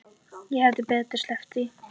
Ég hefði betur sleppt því.